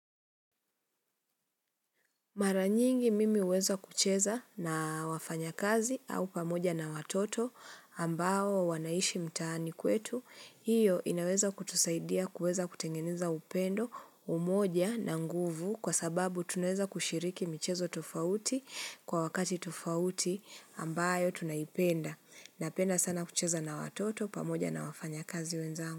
Mara nyingi mimi huweza kucheza na wafanyakazi au pamoja na watoto ambao wanaishi mtaani kwetu, hiyo inaweza kutusaidia kuweza kutengeneza upendo umoja na nguvu kwa sababu tunaweza kushiriki michezo tofauti kwa wakati tofauti ambayo tunaipenda. Napenda sana kucheza na watoto pamoja na wafanyakazi wenzangu.